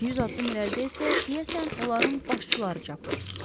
100 addım irəlidə isə deyəsən onların başçıları çapır.